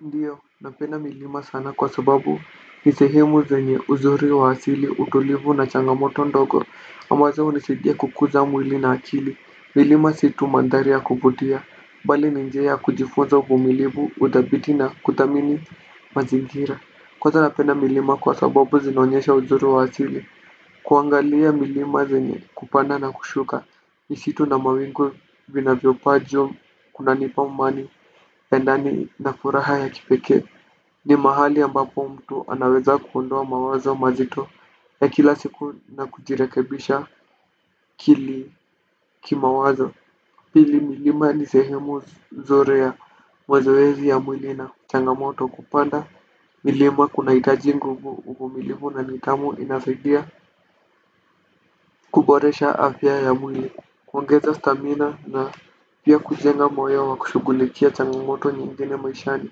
Ndiyo, napenda milima sana kwa sababu ni sehemu zenye uzuri wa asili utulivu na changamoto ndogo ambazo hunisidia kukuza mwili na akili. Milima si tu mandhari ya kuvutia, bali ni njia ya kujifunza uvumilivu, uthabiti na kuthamini mazingira. Kwanza napenda milima kwa sababu zinaonyesha uzuri wa asili. Kuangalia milima zenye kupanda na kushuka misitu na mawingu vinavyopaa juu kunanipa amani ya ndani na furaha ya kipekee. Ni mahali ambapo mtu anaweza kuondoa mawazo mazito ya kila siku na kujirekebisha akili kimawazo. Pili milima ni sehemu zuri ya mazoezi ya mwili na changamoto kupanda. Milima kunahitaji nguvu uvumilivu na nidhamu inasaidia kuboresha afya ya mwili. Kuongeza stamina na pia kujenga moyo wa kushugulikia changamoto nyingine maishani.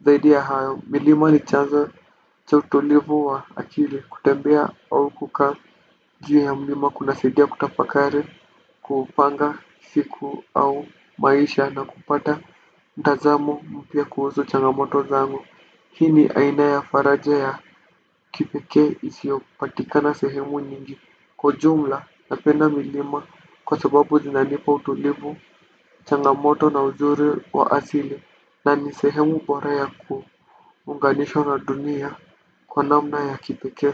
Zaidi ya hayo milima ni chanzo cha utulivu wa akili kutembea au kukaa juu ya mlima. Kunasidia kutafakari kupanga siku au maisha na kupata mtazamo mpya kuhusu changamoto zangu. Hii ni aina ya faraja ya kipekee isiyopatikana sehemu nyingi. Kwa jumla napenda milima kwa sababu zinanipa utulivu, changamoto na uzuri wa asili na ni sehemu bora ya kuunganishwa na dunia kwa namna ya kipekee.